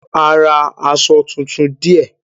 A ra aṣọ tuntun díẹ̀.